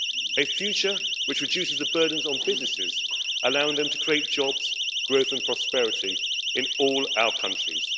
A future which reduces the burdens on businesses, allowing them to create jobs, growth and prosperity in all our countries.